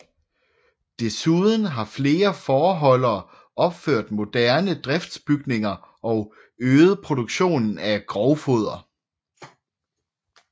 Desuden har flere fåreholdere opført moderne driftsbygninger og øget produktionen af grovfoder